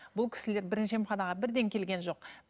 бұл кісілер бірінші емханаға бірден келген жоқ